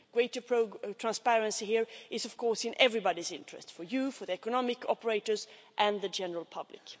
Greater transparency here is, of course, in everybody's interest for you, for the economic operators and for the general public.